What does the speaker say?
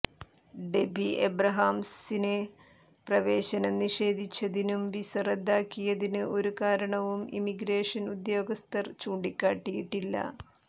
derby അബ്രഹാംസിന് പ്രവേശനം നിഷേധിച്ചതിനും വിസ റദ്ദാക്കിയതിന് ഒരു കാരണവും ഇമിഗ്രേഷൻ ഉദ്യോഗസ്ഥർ ചൂണ്ടിക്കാട്ടിയിട്ടില്ല